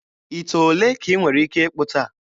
Ite ole ka ị nwere ike ịkpụta?